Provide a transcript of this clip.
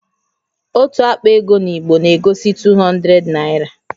Otu àkpà égo in Igbo egosi 200 naira